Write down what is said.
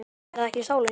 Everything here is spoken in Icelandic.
Er það ekki sálin?